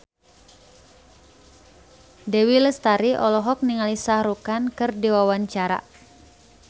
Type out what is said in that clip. Dewi Lestari olohok ningali Shah Rukh Khan keur diwawancara